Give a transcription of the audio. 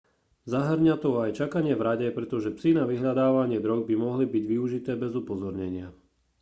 zahŕňa to aj čakanie v rade pretože psy na vyhľadávanie drog by mohli byť využité bez upozornenia